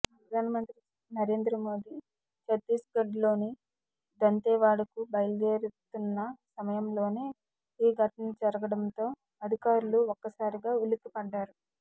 ప్రధానమంత్రి నరేంద్ర మోదీ చత్తిస్గఢ్లోని దంతెవాడకు బయలుదేరుతున్న సమయంలోనే ఈ సంఘటన జరగడంతో అధికారులు ఒక్కసారిగా ఉలిక్కి పడ్డారు